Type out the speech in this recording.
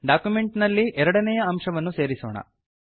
document ನಲ್ಲಿ ಎರಡನೇಯ ಅಂಶವನ್ನು ಸೇರಿಸೋಣ